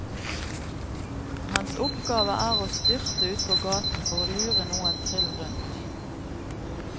Hans oppgave er å styrte ut på gaten for å lure noen trill rundt.